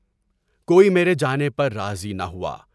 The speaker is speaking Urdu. کوئی میرے جانے پر راضی نہ ہوا۔